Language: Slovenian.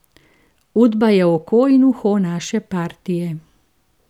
Udba je oko in uho naše partije.